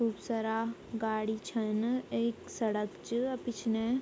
खूब सारा गाडी छन एक सड़क च पिछने ।